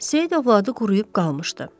Seyid övladı quruyub qalmışdı.